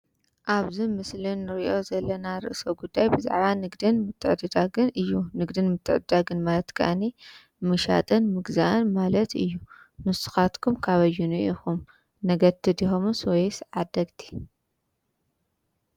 ኣብዚ ምስሊ እንሪኦ ዘለና ርእሰ ጉዳይ ብዛዕባ ንግድን ምትዕደዳግን እዩ። ንግድን ምትዕድዳግን ማለት ከዓኒ ምሻጥን ምግዛእን ማለት እዩ። ንስካትኩም ካበየንኡ ኢኩም ነገድቲ ደኩምስ ወይስ ዓደግቲ?